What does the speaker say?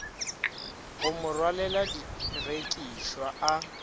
go mo rwalela direkišwa a